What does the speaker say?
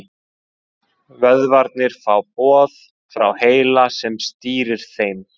Vöðvarnir fá boð frá heila sem stýrir þeim.